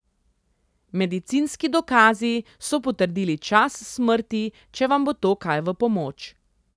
Medicinski dokazi so potrdili čas smrti, če vam bo to kaj v pomoč.